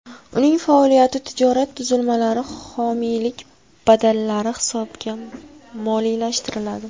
Uning faoliyati tijorat tuzilmalari homiylik badallari hisobiga moliyalashtiriladi.